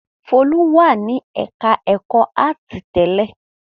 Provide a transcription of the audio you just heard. Folú wà ní ẹ̀ka-ẹ̀kọ́ áátì tẹ́lẹ̀?